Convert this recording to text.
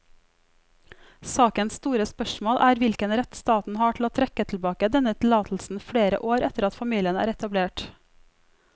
Sakens store spørsmål er hvilken rett staten har til å trekke tilbake denne tillatelsen flere år etter at familien er etablert.